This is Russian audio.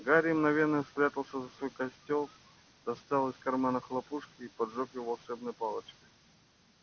гарри мгновенно спрятался за свой костёл достал из кармана хлопушку и поджёг её волшебной палочкой